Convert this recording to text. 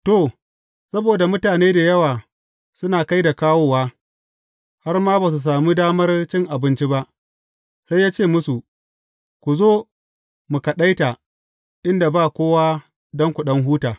To, saboda mutane da yawa suna kai da kawowa, har ma ba su sami damar cin abinci ba, sai ya ce musu, Ku zo mu kaɗaita inda ba kowa don ku ɗan huta.